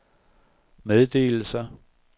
meddelelser